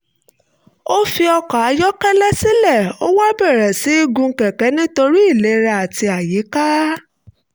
ó fi ọkọ̀ ayọ́kẹ́lẹ́ sílẹ̀ ó wá bẹ̀rẹ̀ sí í gun kẹ̀kẹ́ nítorí ìlera àti àyíká